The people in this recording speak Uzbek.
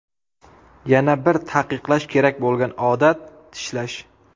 Yana bir taqiqlash kerak bo‘lgan odat tishlash.